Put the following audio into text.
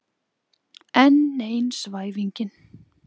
Enn ein svæfingin.